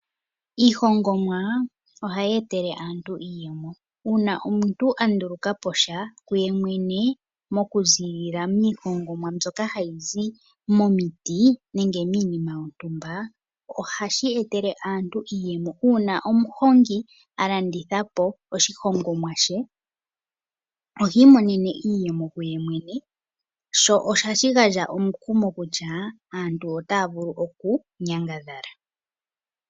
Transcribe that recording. Iihongomwa ohayi etele aantu iiyemo . Ngele omuntu anduluka po sha kuyemwene mokuziillila miihongomwa mbyoka hayi zi momiti nenge miinima yontumba, ohashi etele aantu iiyemo uuna omuhongi alanditha po oshihongomwa she ohi imonene iiyemo ye mwene sho ohashi gandja omukumo kutya aantu otaya vulu okunyangadhala.